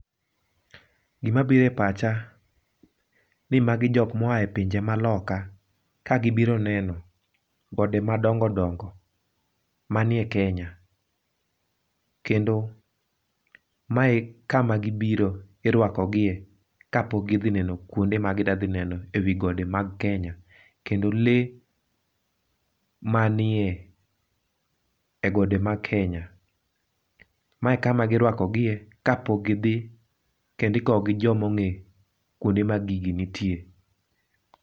Gima biro e pach ani magi jokm aoa e pinje maloka ka gibiro neno gode ma dongo dongo manie Kenya, kendo mae e kama gibiro irwakogie kapok gidhi neno kuonde ma gidhi neno e gode mag Kenya, kendo lee manie e gode mag Kenya. mae e kama irwakogie kapok gidhi kendo ikowgi gi joma onge kuonde ma gigi nitie